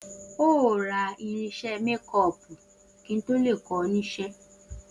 O óò ra irins̩é̩ mékó̩ò̩pù kí n tó lè kó̩ o̩ nís̩̩é̩